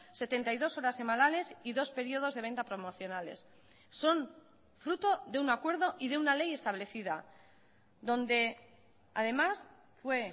setenta y dos horas semanales y dos periodos de venta promocionales son fruto de un acuerdo y de una ley establecida donde además fue